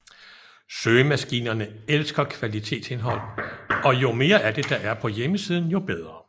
Søgemaskinerne elsker kvalitetsindhold og jo mere af det er der på hjemmesiden jo bedre